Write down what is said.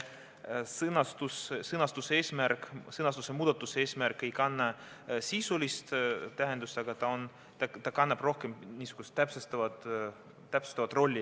See sõnastuse muutmine ei kanna sisulist tähendust, vaid tal on rohkem täpsustav roll.